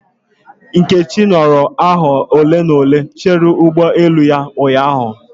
Nkechi nọrọ awa ole na ole chere ụgbọ elu ya ụnyahụ